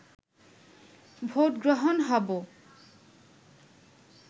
vote গ্রহণ হব